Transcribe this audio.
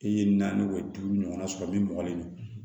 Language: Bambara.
I ye naani duuru ɲɔgɔnna sɔrɔ min mɔgɔnifin